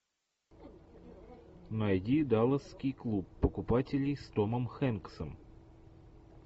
найди далласский клуб покупателей с томом хэнксом